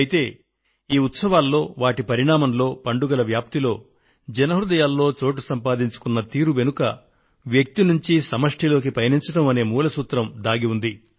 అయితే ఈ ఉత్సవాలలో వాటి పరిణామంలో పండుగల వ్యాప్తిలో జన హృదయాల్లో చోటు సంపాదించుకున్న తీరు వెనుక వ్యక్తి నుండి సమష్ఠిలోకి పయనించడం అనే మూల సూత్రం దాగి ఉంది